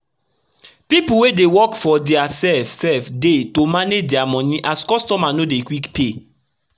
pipu wey dey work for dia sef sef dey to manage dia moni as customer no dey quick pay